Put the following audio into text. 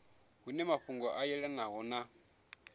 hune mafhungo a yelanaho na